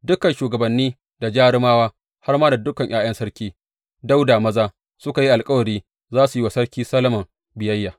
Dukan shugabanni da jarumawa, har ma da dukan ’ya’yan Sarki Dawuda maza, suka yi alkawari za su yi wa Sarki Solomon biyayya.